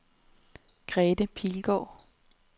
Grete Pilgaard